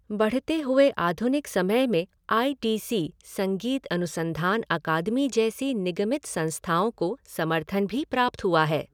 बढ़ते हुए आधुनिक समय में आई टी सी, संगीत अनुसंधान अकादमी जैसी निगमित संस्थाओं को समर्थन भी प्राप्त हुआ है।